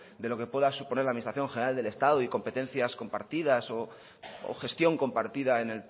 de lo que pueda suponer la administración general del estado y competencias compartidas o gestión compartida en